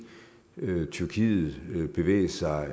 tyrkiet bevæge sig